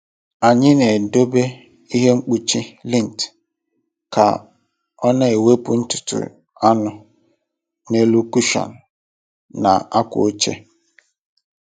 Anyị na-edobe ihe mkpuchi lint ka ọ na-ewepụ ntutu anụ n’elu kụshọn na akwa oche.